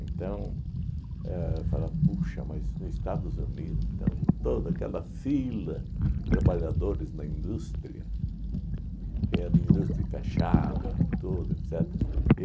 Então, éh falava, puxa, mas nos Estados Unidos então toda aquela fila de trabalhadores na indústria, que era indústria e fechava, tudo, etcetera.